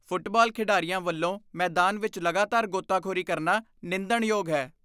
Football ਖਿਡਾਰੀਆਂ ਵੱਲੋਂ ਮੈਦਾਨ ਵਿੱਚ ਲਗਾਤਾਰ ਗੋਤਾਖੋਰੀ ਕਰਨਾ ਨਿੰਦਣਯੋਗ ਹੈ।